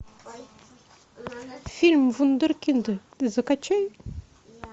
фильм вундеркинды закачай